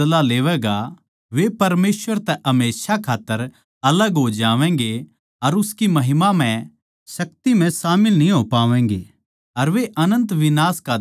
वे परमेसवर तै हमेशा खात्तर अलग हो जावैंगे अर उसकी महिमामय शक्ति म्ह शामिल न्ही हो पावैंगें अर वे अनन्त विनाश का दण्ड पावैंगें